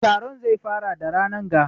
Taron zai fara da ranan ga